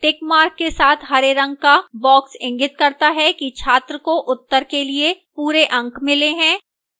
tick mark के साथ हरे रंग का box इंगित करता है कि छात्र को उत्तर के लिए पूरे अंक मिले हैं